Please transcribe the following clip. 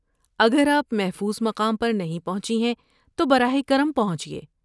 اگر آپ محفوظ مقام پر نہیں پہنچی ہیں، تو براہ کرم پہنچیے۔